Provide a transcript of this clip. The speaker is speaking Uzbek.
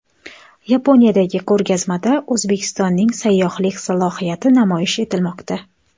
Yaponiyadagi ko‘rgazmada O‘zbekistonning sayyohlik salohiyati namoyish etilmoqda.